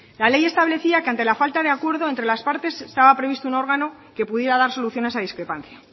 la ley establecía que ante la falta de acuerdo entre las partes estaba previsto un órgano que pudiera dar soluciones a discrepancia